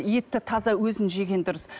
етті таза өзін жеген дұрыс